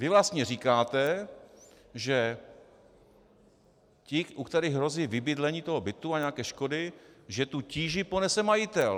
Vy vlastně říkáte, že ti, u kterých hrozí vybydlení toho bytu a nějaké škody, že tu tíži ponese majitel.